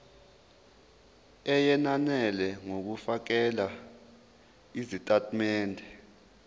eyenele ngokufakela izitatimende